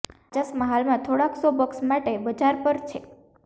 આ ચશ્મા હાલમાં થોડાક સો બક્સ માટે બજાર પર છે